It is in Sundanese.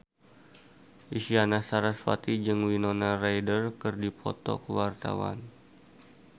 Isyana Sarasvati jeung Winona Ryder keur dipoto ku wartawan